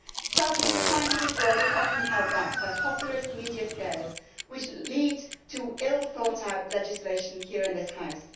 Sadly, the scientific world is often held back by populist media scares which lead to ill thought out legislation here in this House.